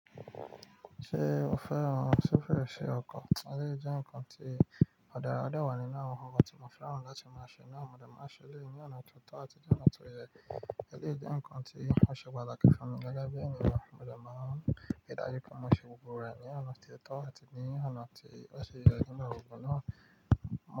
Ṣé o fẹ́ran sófììsì ọkọ̀? Eleyi je nǹkan tí ò dara o de wà nínú awọn nnkan ti mo fẹ́ran láti máa ṣe ná, mo dẹ̀ máa n ṣe eléyi ní ọ̀nà tó tọ́ àti ní ọ̀nà tó yẹ. Èleeyí jẹ́ ǹkan tí ó ṣe pataki fún mi gẹ́gẹ́ bí ènìyàn. Mo dẹ̀ máa ń ri dájú pé mo ṣe gbogbo rẹ̀ ní ọ̀nà tí ó tọ́ àti ní ọ̀nà tí ó ṣe yẹ kí n bá wò ó ná.